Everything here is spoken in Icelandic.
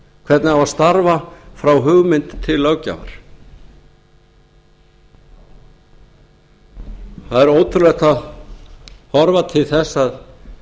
hvernig á að starfa frá hugmynd til löggjafar það er ótrúlegt að horfa til þess að